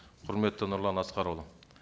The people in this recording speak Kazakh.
құрметті нұрлан асқарұлы